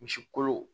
Misi kolo